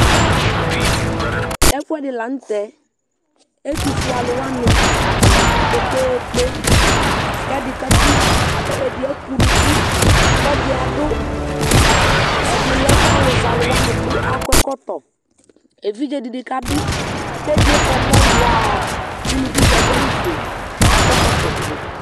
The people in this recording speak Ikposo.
ɛfoɛdi lantɛ ɛtofue alo wani atani abò kpekpekpe k'ɛdi kaku ɛdi eke unuku k'ɛdi ado ɛdi lɛ alo zɛ alo wani kò akɔ ɛkɔtɔ evidze di ni kabi k'ɛdiɛ eke ɔmɔ waa uluvi di ado awu fue k'akɔ ɛkɔtɔ fue